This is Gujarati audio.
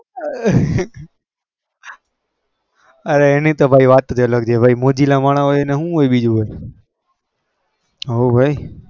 આમ ના મજા ના આવે અરે એની વાત જ અલગ છે મોજીલા મનહ ની હોય બીજું હું હોય